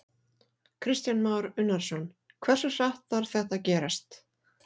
Kristján Már Unnarsson: Hversu hratt þarf þetta að gerast?